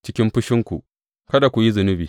Cikin fushinku kada ku yi zunubi.